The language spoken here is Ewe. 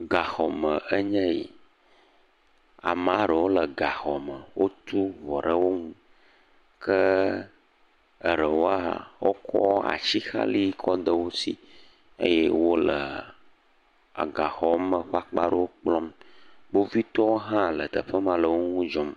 Gaxɔme enye yi, ame aɖewo le gaxɔ me wotu ŋɔ ɖe wo nu ke ɖewo hã wotsɔ atixale ɖe wosi eye wotsɔ le gaxɔ me ƒe akpa ɖewo kplɔm. Kpovitɔwo hã le teƒe ma le wo ŋu dzɔm.